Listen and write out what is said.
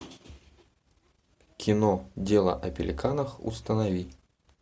кино дело о пеликанах установи